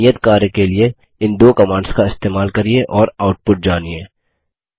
कृपया नियत कार्य के लिए इन दो कमांड्स का इस्तेमाल करिये और आउटपुट जानिए